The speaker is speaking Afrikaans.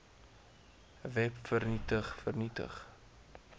web vernietig vernietig